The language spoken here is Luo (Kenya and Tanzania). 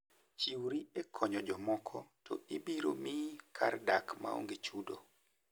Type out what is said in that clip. Chiwri e konyo jomoko to ibiro miyi kar dak maonge chudo.